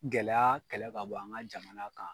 Gɛlɛya kɛlɛ ka bɔ an ka jamana kan.